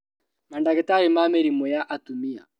Mandagĩtarĩ ma mĩrimũ ya atumia